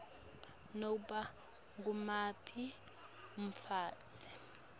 nobe ngumuphi umfundzi